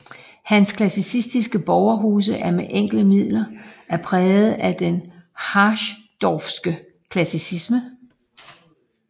Hans klassicistiske borgerhuse er med enkle midler er præget af den harsdorffske klassicisme